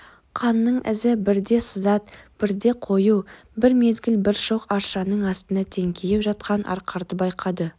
қанның ізі бірде сызат бірде қою бір мезгіл бір шоқ аршаның астында теңкиіп жатқан арқарды байқады